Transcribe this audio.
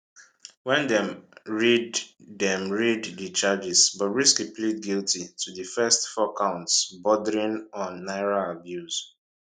wen dem read dem read di charges bobrisky plead guilty to di first four counts bordering on naira abuse